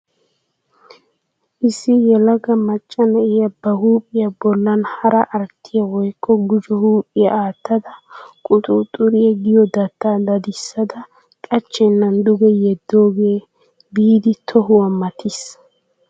Issi yelaga macca na'iya ba huuphiya bollan hara arttiya woykko gujo huuphiya aattada quxuuxxuriya giyo dattaa dadissada qachchennan duge yeddoogee biidi tohuwa matiis.